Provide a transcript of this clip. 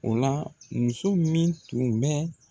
O la muso min tun bɛ